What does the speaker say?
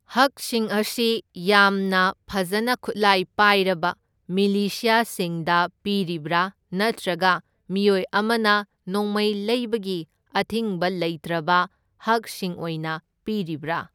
ꯍꯛꯁꯤꯡ ꯑꯁꯤ ꯌꯥꯝꯅ ꯐꯖꯅ ꯈꯨꯠꯂꯥꯢ ꯄꯥꯢꯔꯕ ꯃꯤꯂꯤꯁ꯭ꯌꯁꯤꯡꯗ ꯄꯤꯔꯤꯕ꯭ꯔꯥ ꯅꯠꯇ꯭ꯔꯒ ꯃꯤꯑꯣꯏ ꯑꯃꯅ ꯅꯣꯡꯃꯩ ꯂꯩꯕꯒꯤ ꯑꯊꯤꯡꯕ ꯂꯩꯇ꯭ꯔꯕ ꯍꯛꯁꯤꯡ ꯑꯣꯢꯅ ꯄꯤꯔꯤꯕ꯭ꯔꯥ?